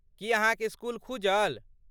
की अहाँक इस्कूल खूजल?